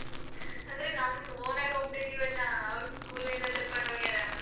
ಅಂದ್ರೆ ನಮ್ದ್ own ಆಗ್ ಹೋಗ್ತಿದಿವಲ್ಲಾ ಅವ್ರ್ school ಇಂದ ಕರ್ಕೊಂಡ್ ಹೋಗ್ಯಾರ.